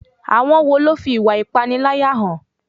Àwọn wo ló fi ìwà ìpániláyà hàn?